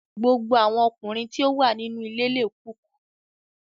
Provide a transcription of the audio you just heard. Gbogbo awọn ọkunrin ti o wa ninu ile le cook